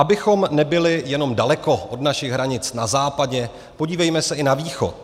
Abychom nebyli jenom daleko od našich hranic na západě, podívejme se i na východ.